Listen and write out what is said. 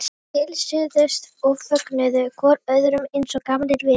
Þeir heilsuðust og fögnuðu hvor öðrum eins og gamlir vinir.